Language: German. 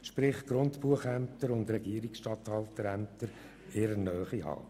Das heisst, sie wollen Regierungsstatthalterämter und Grundbuchämter in ihrer Nähe haben.